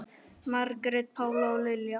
Margrét Pála og Lilja.